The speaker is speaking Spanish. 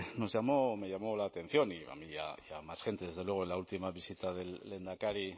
nos llamó me llamó la atención a mí y a más gente desde luego en la última visita del lehendakari